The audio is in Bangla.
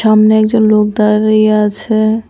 সামনে একজন লোক দাঁড়িয়ে আছে।